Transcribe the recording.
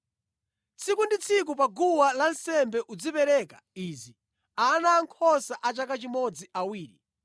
“Tsiku ndi tsiku pa guwa lansembe uzipereka izi: Ana ankhosa a chaka chimodzi awiri.